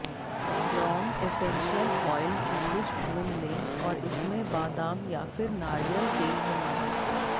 लौंग essential oil की कुछ बूंद लें और इसमें बादाम या फिर नारियल तेल मिलाएं